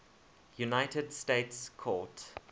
united states court